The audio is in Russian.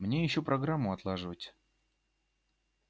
мне ещё программу отлаживать